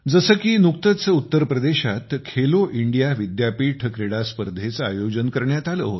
जसे की नुकतेच उत्तर प्रदेशात खेलो इंडिया विद्यापीठ क्रीडास्पर्धांचे आयोजन करण्यात आले होते